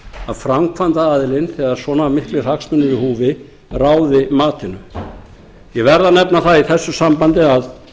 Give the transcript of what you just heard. að framkvæmdaraðilinn þegar svona miklir hagsmunir eru í húfi ráði matinu ég verð að nefna það í þessu sambandi að